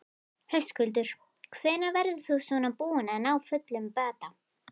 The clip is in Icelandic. Höskuldur: Hvenær verður þú svona búinn að ná fullum bata?